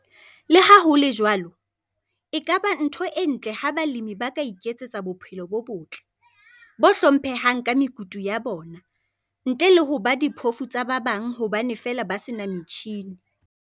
Le ha ho le jwalo, e ka ba ntho e ntle ha balemi ba ka iketsetsa bophelo bo botle, bo hlomphehang ka mekutu ya bona, ntle le ho ba diphoofu tsa ba bang hobane feela ba se na metjhine.